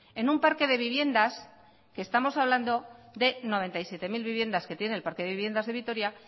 en un parque de viviendas que estamos hablando de noventa y siete mil viviendas que tiene el parque de viviendas de vitoria